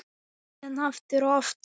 Síðan aftur og aftur.